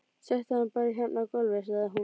Settu hann bara hérna á gólfið, sagði hún svo.